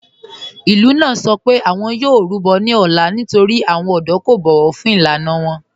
Ìlú náà sọ pé awọn yóò rúbọ̀ ní òlá nítorí awọn ọdọ̀ kò bọ̀wọ̀ fún ilànà wọn.